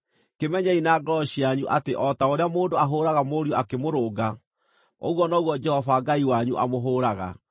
Kĩmenyei na ngoro cianyu atĩ o ta ũrĩa mũndũ ahũũraga mũriũ akĩmũrũnga, ũguo noguo Jehova Ngai wanyu amũhũũraga.